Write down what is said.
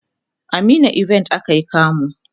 a meena event akayi kamu